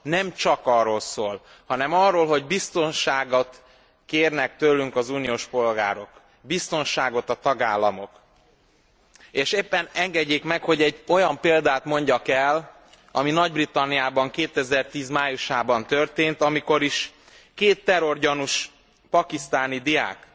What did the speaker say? Nem csak arról szól, hanem arról, hogy biztonságot kérnek tőlünk az uniós polgárok, biztonságot a tagállamok, és engedjék meg, hogy egy olyan példát mondjak el, ami Nagy Britanniában 2010 májusában történt, amikor is két terrorgyanús pakisztáni diák,